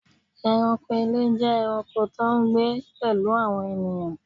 Ẹranko ile jẹ ẹranko to n gbe pelu awọn ènìyàn